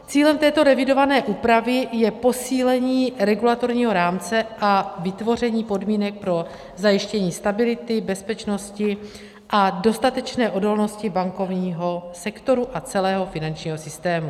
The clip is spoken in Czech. Cílem této revidované úpravy je posílení regulatorního rámce a vytvoření podmínek pro zajištění stability, bezpečnosti a dostatečné odolnosti bankovního sektoru a celého finančního systému.